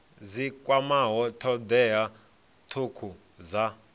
dzi kwamaho thodea thukhu dza